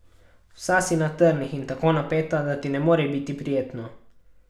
Vsa si na trnih in tako napeta, da ti ne more biti prijetno.